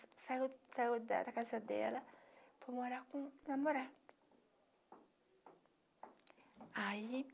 saiu saiu da da casa dela para morar com o namorado. Aí